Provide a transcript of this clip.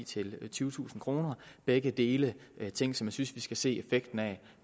til tyvetusind kroner begge dele er ting som jeg synes vi skal se effekten af